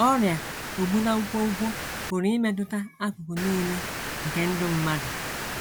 Ọrịa ogbu na nkwonkwo pụrụ imetụta akụkụ nile nke ndụ mmadụ.